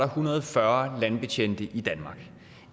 hundrede og fyrre landbetjente i danmark